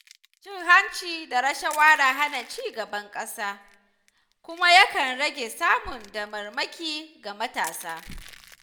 Cin hanci da rashawa na hana ci gaban ƙasa kuma yakan rage samun damarmaki ga matasa.